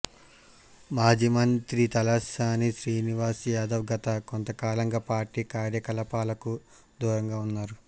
మాజీ మంత్రి తలసాని శ్రీనివాస్ యాదవ్ గత కొంతకాలంగా పార్టీ కార్యకలాపాలకు దూరంగా ఉన్నారు